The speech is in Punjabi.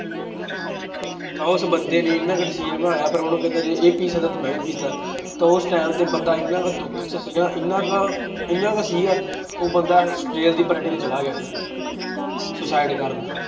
ਤਾਂ ਉਸ ਬੰਦੇ ਨੇ ਇੰਨਾ ਕੁ decision ਬਣਾਇਆ ਫਿਰ ਉਹਨੂੰ ਕਹਿੰਦਾ ਜੇ ਇਹ ਪੀ ਸਕਦਾ ਤੇ ਮੈਂ ਤਾਂ ਉਸ time ਤੇ ਬੰਦਾ ਇੰਨਾ ਕੁ ਦੁੱਖ ਚ ਸੀ ਨਾ ਇੰਨਾ ਕੁ ਇੰਨਾ ਕੁ ਸੀਗਾ ਉਹ ਬੰਦਾ ਰੇਲ ਦੀ ਪੱਟੜੀ ਤੇ ਚਲਾ ਗਿਆ suicide ਕਰਨ